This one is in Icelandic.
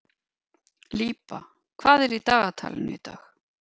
Líba, hvað er í dagatalinu í dag?